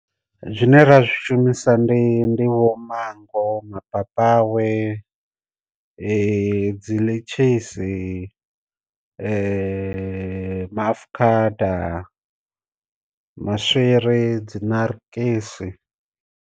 Zwine ra zwi shumisa ndi ndivho manngo mapapawe dzi dzi ḽitshisi ma afukhada, maswiri, dzinarikisi.